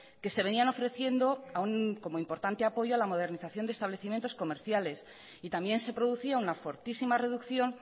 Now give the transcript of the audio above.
que se venían ofreciendo como importante apoyo a la modernización de establecimientos comerciales y también se producía una fortísima reducción